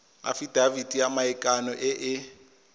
afitafiti ya maikano e e